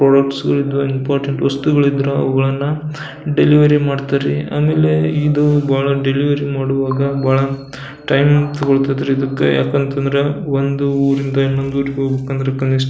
product important ವಸ್ತುಗಳು ಇದ್ರೆ ಅವುಗಳನ್ನ ಡೆಲಿವರಿ ಮಾಡ್ತ್ರ್ ರೀ ಆಮೇಲೆ ಇದು ಡೆಲಿವರಿ ಮಾಡುವಾಗ ಟೈಮ್ ತಗೊಳ್ತದ ರೀ ಯಾಕಂತಂದ್ರೆ ಒಂದ್ ಊರಿಂದ ಇನ್ನೊಂದ್ ಊರಿಗ್ ಹೋಗ್ಬೇಕಂದ್ರ ಕನಿಷ್ಠ --